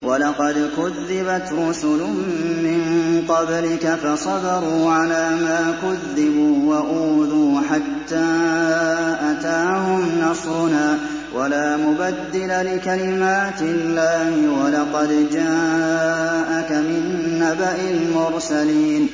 وَلَقَدْ كُذِّبَتْ رُسُلٌ مِّن قَبْلِكَ فَصَبَرُوا عَلَىٰ مَا كُذِّبُوا وَأُوذُوا حَتَّىٰ أَتَاهُمْ نَصْرُنَا ۚ وَلَا مُبَدِّلَ لِكَلِمَاتِ اللَّهِ ۚ وَلَقَدْ جَاءَكَ مِن نَّبَإِ الْمُرْسَلِينَ